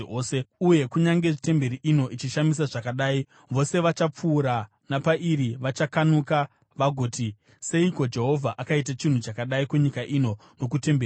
Uye kunyange temberi ino ichishamisa zvakadai, vose vachapfuura napairi vachakanuka vagoti, ‘Seiko Jehovha akaita chinhu chakadai kunyika ino nokutemberi iyi?’